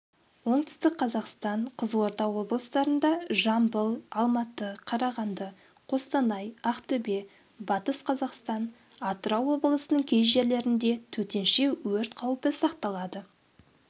оңтүстік қазақстан қызылорда облыстарында жамбыл алматы қарағанды қостанай ақтөбе батыс қазақстан атырау облысының кей жерлерінде төтенше өрт қаупі сақталады